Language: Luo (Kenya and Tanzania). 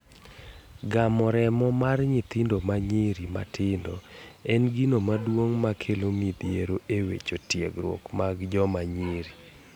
Gamo remo mar nyithindo manyirir matindo en gino maduong makelo midhiero e weche tiegruok mag joma nyiri.